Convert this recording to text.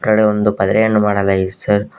ಅ ಕಡೆ ಒಂದು ಪದ್ರೆಯನ್ನು ಮಾಡಲಾಗಿದೆ ಸರ್ .